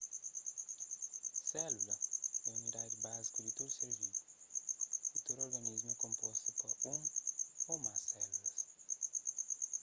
sélula é unidadi báziku di tudu ser vivu y tudu organismu é konpostu pa un ô más sélulas